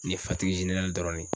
Nin ye [ cs] dɔrɔn de ye.